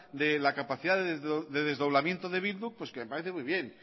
de la capacidad de desdoblamiento de bildu pues que me parece muy bien